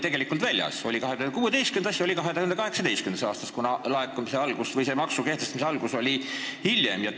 See ehk on olnud 2016. ja 2018. aastas, kuna maksu kehtimise algus oli hiljem?